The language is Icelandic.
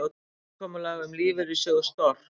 Samkomulag um lífeyrissjóð Stork